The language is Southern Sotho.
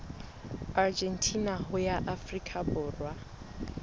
argentina ho ya afrika borwa